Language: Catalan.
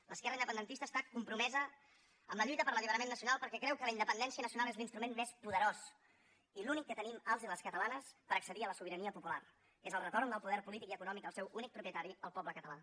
l’esquerra independentista està compromesa amb la lluita per l’alliberament nacional perquè creu que la independència nacional és l’instrument més poderós i l’únic que tenim els i les catalanes per accedir a la sobirania popular que és el retorn del poder polític i econòmic al seu únic propietari el poble català